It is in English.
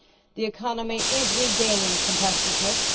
The economy is regaining competitiveness.